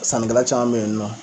Sannikɛla caman bɛ yen nɔ.